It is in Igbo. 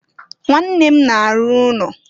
Nwanne m na-arụ ụnọ.